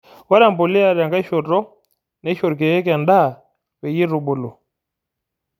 Ore empuliya tenkae shotoo neisho irkiek endaa peyie eitubulu.